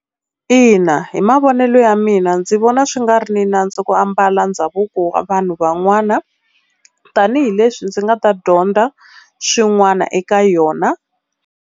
Ina hi mavonelo ya mina ndzi vona swi nga ri na nandzu ku ambala ndhavuko vanhu van'wana, tanihileswi ndzi nga ta dyondza swin'wana eka yona.